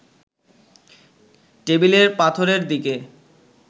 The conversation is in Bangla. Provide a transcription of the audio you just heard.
টেবিলের পাথরের দিকে